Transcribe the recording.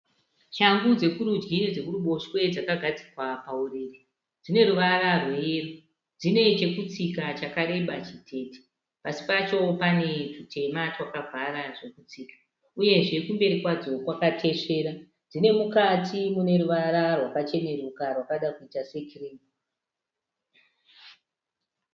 Shangu dzekurudyi nedzekuruboshwe dzakagadzikwa pauriri. Dzine ruvara rweyero. Dzine chekutsika chakareba chitete. Pasi pacho pane tutema twakavhara zvekutsika uyezve dzine kumberi kwakatesvera dzine mukati mune ruvara rwakacheneruka rwakada kuita sekirimu.